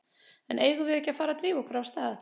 En eigum við ekki að fara að drífa okkur af stað?